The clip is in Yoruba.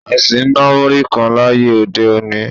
A sì ń ná múrí kan láyé òde-òní